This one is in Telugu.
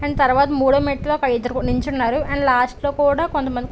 అండ్ తర్వాత మూడో మెట్టు పై ఇద్దరు నిల్చున్నారు అండ్ లాస్ట్ లో కూడా కొంతమంది --